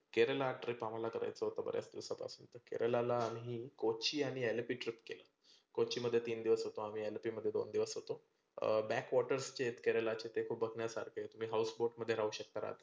केरळला trip आम्हाला करायचं होतं बऱ्याच दिवसांपासून. तर केरळला आम्ही कोची आणि अलापे trip केल. कोची मध्ये तीन दिवस होतो आम्ही, अलापे मध्ये दोन दिवस होतो. अं back waters केरळाचे खुप बघण्यासारखे तुम्ही house boat मध्ये राहू शकता रात्री.